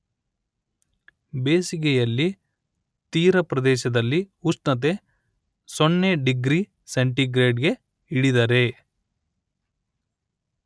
ಬೇಸಿಗೆಯಲ್ಲಿ ತೀರ ಪ್ರದೇಶದಲ್ಲಿ ಉಷ್ಣತೆ ಸೊನ್ನೆ ಡಿಗ್ರಿ ಸೆಂಟಿಗ್ರೇಡ್ ಗೆ ಇಳಿದರೆ